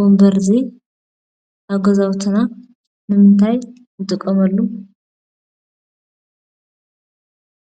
ወንበር እዚ ኣብ ገዛውትና ንምንታይ ንጥቀመሉ?